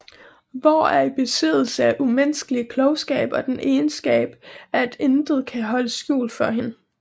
Vår er i besiddelse af umenneskelig klogskab og den egenskab at intet kan holdes skjult for hende